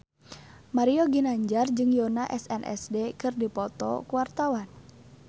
Mario Ginanjar jeung Yoona SNSD keur dipoto ku wartawan